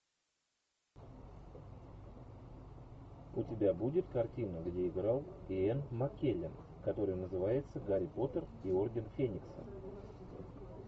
у тебя будет картина где играл иэн маккеллен которая называется гарри поттер и орден феникса